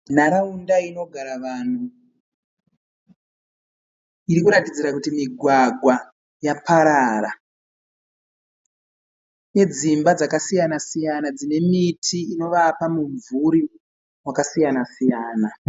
Nharaunda inogara vanhu irikuratidzira kuti migwagwa yaparara. Idzimba dzaka siyana-siyana dzine miti inovapa mibvuri wakasiyana-siyana.